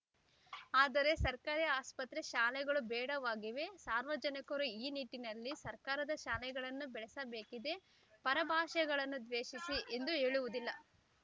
ಆದರೆ ಸರ್ಕಾರಿ ಆಸ್ಪತ್ರೆ ಶಾಲೆಗಳು ಬೇಡವಾಗಿವೆ ಸಾರ್ವಜನಿಕರು ಈ ನಿಟ್ಟಿನಲ್ಲಿ ಸರ್ಕಾರದ ಶಾಲೆಗಳನ್ನು ಬೆಳೆಸಬೇಕಿದೆ ಪರ ಭಾಷೆಗಳನ್ನು ದ್ವೇಷಿಸಿ ಎಂದು ಹೇಳುವುದಿಲ್ಲ